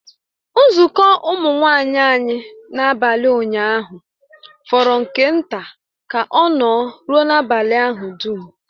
Nzukọ Ụmụ nwanyị anyị n'abalị ụnyaahụ fọrọ nke nta ka ọ nọ rụọ n'abalị ahụ dum